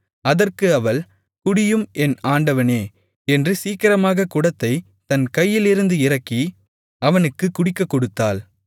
அதற்கு அவள் குடியும் என் ஆண்டவனே என்று சீக்கிரமாகக் குடத்தைத் தன் கையிலிருந்து இறக்கி அவனுக்குக் குடிக்கக் கொடுத்தாள்